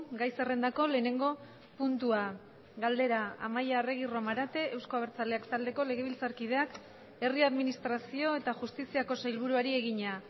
gai zerrendako lehenengo puntua galdera amaia arregi romarate euzko abertzaleak taldeko legebiltzarkideak herri administrazio eta justiziako sailburuari egina